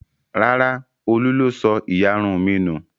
Rárá, Olú ló sọ ìyarun mi nù.